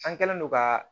An kɛlen don ka